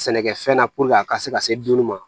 Sɛnɛkɛfɛn na a ka se ka se dunni ma